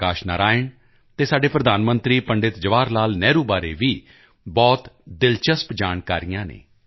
ਪ੍ਰਕਾਸ਼ ਨਰਾਇਣ ਅਤੇ ਸਾਡੇ ਪ੍ਰਧਾਨ ਮੰਤਰੀ ਪੰਡਿਤ ਜਵਾਹਰਲਾਲ ਨਹਿਰੂ ਬਾਰੇ ਵੀ ਬਹੁਤ ਦਿਲਚਸਪ ਜਾਣਕਾਰੀਆਂ ਹਨ